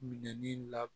Minɛnin la